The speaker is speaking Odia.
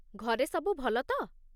ଘରେ ସବୁ ଭଲ ତ?